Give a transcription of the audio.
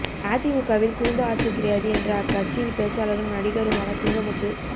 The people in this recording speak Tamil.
அதிமுகவில் குடும்ப ஆட்சி கிடையாது என்ற அக்கட்சியின் பேச்சாளரும் நடிகருமான சிங்கமுத்து